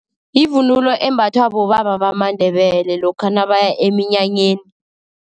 Yivunulo embathwa bobaba bamaNdebele, lokha nabaya eminyanyeni.